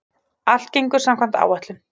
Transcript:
Allt gengur samkvæmt áætlun